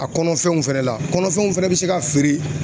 A kɔnɔfɛnw fɛnɛ la, kɔnɔfɛnw fɛnɛ be se ka feere